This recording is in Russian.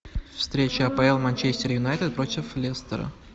встреча апл манчестер юнайтед против лестера